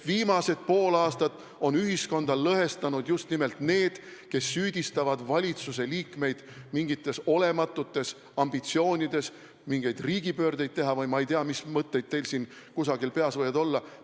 Viimased pool aastat on ühiskonda lõhestanud just nimelt need, kes süüdistavad valitsuse liikmeid mingites olematutes ambitsioonides mingeid riigipöördeid teha või ma ei tea, mis mõtted teil peas võivad olla.